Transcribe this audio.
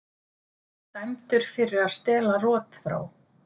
Dæmdur fyrir að stela rotþró